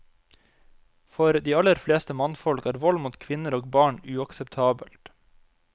For de aller fleste mannfolk er vold mot kvinner og barn uakseptabelt.